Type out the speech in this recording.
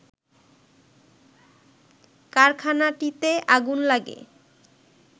কারখানাটিতে আগুন লাগে